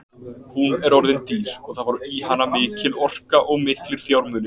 Hún er orðin dýr og það fór í hana mikil orka og miklir fjármunir.